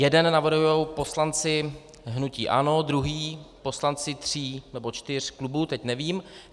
Jeden navrhují poslanci hnutí ANO, druhý poslanci tří nebo čtyř klubů, teď nevím.